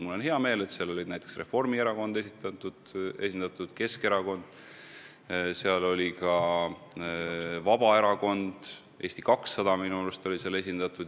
Mul on hea meel, et Reformierakond oli esindatud, Keskerakond, Vabaerakond ja ka Eesti 200 olid seal minu arust esindatud.